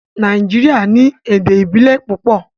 Nàìjíríà ní èdè ìbílè púpọ.